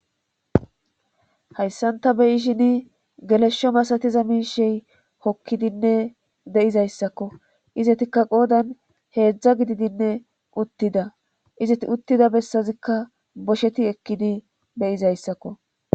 hayssanta beyishin geleshsho masatiza miishey hokkidinne de7izayssakko izetikka qoodan heedzdza gididinne uttida izeti uttida bessazikka bosheti ekkidi beyizayssakko